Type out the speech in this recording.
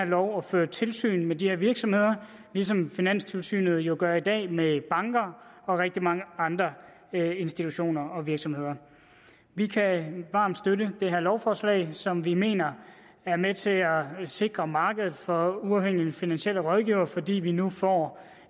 loven og føre tilsyn med de her virksomheder ligesom finanstilsynet jo gør i dag med banker og rigtig mange andre institutioner og virksomheder vi kan varmt støtte det her lovforslag som vi mener er med til at sikre markedet for uafhængige finansielle rådgivere fordi vi nu får